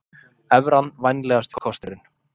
Evran vænlegasti kosturinn